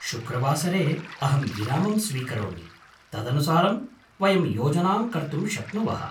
शुक्रवासरे अहं विरामं स्वीकरोमि, तदनुसारं वयं योजनां कर्तुं शक्नुवः।